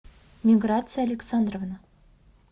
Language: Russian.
миграция александровна